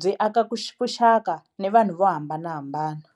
byi aka vuxaka ni vanhu vo hambanahambana.